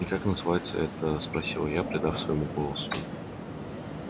и как называется эта спросила я придав своему голосу